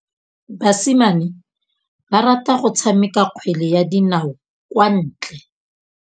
Basimane ba rata go tshameka kgwele ya dinaô kwa ntle.